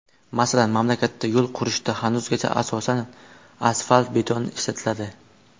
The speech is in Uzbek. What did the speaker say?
Masalan, mamlakatda yo‘l qurishda hanuzgacha asosan asfalt-beton ishlatiladi.